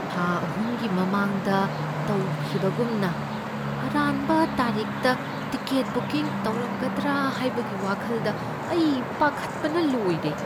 ꯊꯥ ꯑꯍꯨꯝꯒꯤ ꯃꯃꯥꯡꯗ ꯇꯧꯈꯤꯕꯒꯨꯝꯅ ꯑꯔꯥꯟꯕ ꯇꯥꯔꯤꯛꯇ ꯇꯤꯀꯦꯠ ꯕꯨꯀꯤꯡ ꯇꯧꯔꯝꯒꯗ꯭ꯔꯥ ꯍꯥꯢꯕꯒꯤ ꯋꯥꯈꯜꯗ ꯑꯩ ꯄꯥꯈꯠꯄꯅ ꯂꯣꯏꯔꯦ꯫